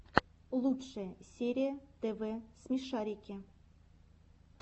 лучшая серия тв смешарики